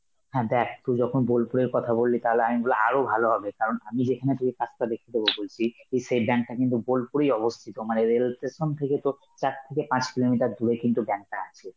হ্যাঁ দেখ তুই যখন বোলপুর এর কথা বললি তাহলে আমি বলবো আরো ভালো হবে, কারন আমি সেখানে তোকে কাজটা দেখিয়ে দেবো বলছি এ সেই bank টা কিন্তু বোলপুরেই অবস্থিত, মানে এদের হচ্ছে সোম থেকে তোর চার থেকে পাঁচ kilometer দূরে কিন্তু bank টা আছে,